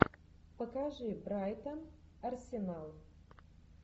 покажи брайтон арсенал